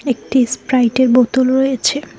একটি স্প্রাইটের বোতল রয়েছে।